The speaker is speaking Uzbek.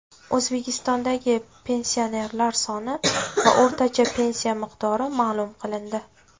O‘zbekistondagi pensionerlar soni va o‘rtacha pensiya miqdori ma’lum qilindi.